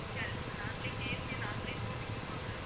அதுக்கப்புறம் நாங்களே KFC அஹ் நாங்களே தூவிக்கணுமா ma'am